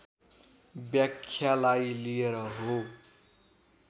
व्याख्यालाई लिएर हो